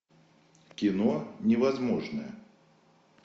кино невозможное